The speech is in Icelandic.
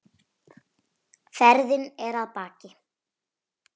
Ferðin er að baki.